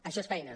això és feina